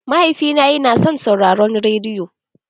Mahaifina yana son sauraron rediyo.